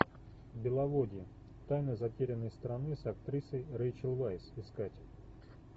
беловодье тайна затерянной страны с актрисой рейчел вайс искать